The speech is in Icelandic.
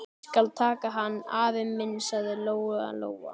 Ég skal taka hann, afi minn, sagði Lóa-Lóa.